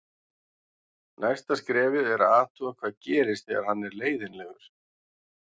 Næsta skrefið er að athuga hvað gerist þegar hann er leiðinlegur.